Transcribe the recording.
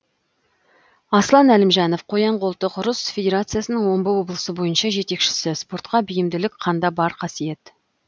аслан әлімжанов қоян қолтық ұрыс федерациясының омбы облысы бойынша жетекшісі спортқа бейімділік қанда бар қасиет